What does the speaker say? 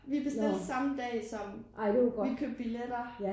Vi bestilte samme dag som vi købte billetter